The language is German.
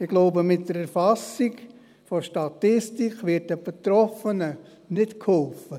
Ich glaube, mit der Erfassung in einer Statistik wird den Betroffenen nicht geholfen.